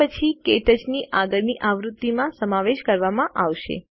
તે પછી ક્ટચ ની આગળની આવૃત્તિ માં સમાવેશ કરવામાં આવશે